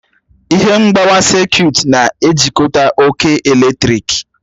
Ihe mgbawa sekut na-ejikọta oke eletrik.